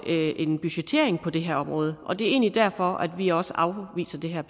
en budgettering på det her område og det er egentlig derfor at vi også afviser det her